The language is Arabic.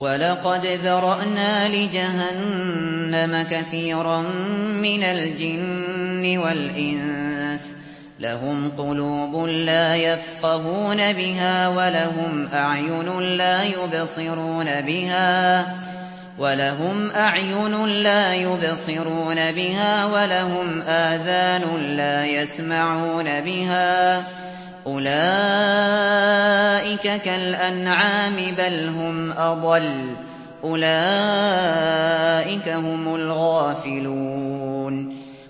وَلَقَدْ ذَرَأْنَا لِجَهَنَّمَ كَثِيرًا مِّنَ الْجِنِّ وَالْإِنسِ ۖ لَهُمْ قُلُوبٌ لَّا يَفْقَهُونَ بِهَا وَلَهُمْ أَعْيُنٌ لَّا يُبْصِرُونَ بِهَا وَلَهُمْ آذَانٌ لَّا يَسْمَعُونَ بِهَا ۚ أُولَٰئِكَ كَالْأَنْعَامِ بَلْ هُمْ أَضَلُّ ۚ أُولَٰئِكَ هُمُ الْغَافِلُونَ